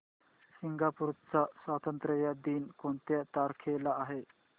Singapore चा स्वातंत्र्य दिन कोणत्या तारखेला आहे